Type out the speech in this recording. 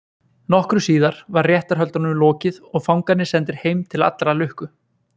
Nokkru síðar var réttarhöldunum lokið og fangarnir sendir heim til allrar lukku.